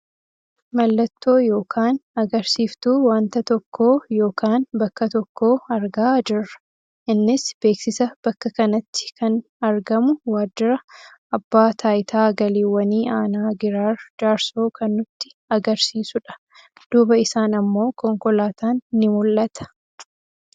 Mallattoo yookaan agarsiiftuu wanta tokkoo yookaan bakka tokkoo argaa jirra. Innis beeksisa bakka kanatti kan argamu waajira abbaa taayitaa galiiwwanii aanaa giraar jaarsoo kan nutti agarsiisudha. Duuba isaan ammoo konkolaataan ni mul'ata.